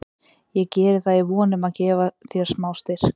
Ég geri það í von um að gefa þér smá styrk.